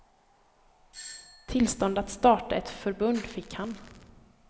Tillstånd att starta ett förbund fick han.